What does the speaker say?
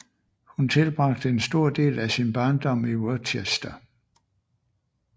Hun tilbragte en stor del af sin barndom i Worcester